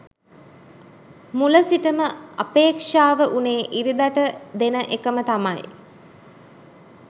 මුල සිටම අපේක්ෂාව වුනේ ඉරිදට දෙන එකම තමයි.